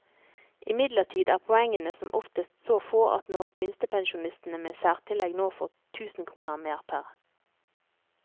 Imidlertid er poengene som oftest så få at når minstepensjonistene med særtillegg nå får tusen kroner mer pr.